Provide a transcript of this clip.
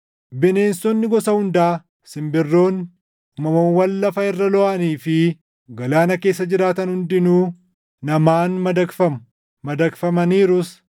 Bineensonni gosa hundaa, simbirroonni, uumamawwan lafa irra looʼanii fi galaana keessa jiraatan hundinuu namaan madaqfamu; madaqfamaniirus;